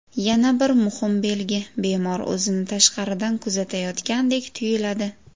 Yana bir muhim belgi, bemor o‘zini tashqaridan kuzatayotgandek tuyiladi.